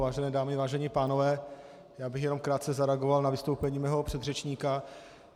Vážené dámy, vážení pánové, já bych jenom krátce zareagoval na vystoupení svého předřečníka.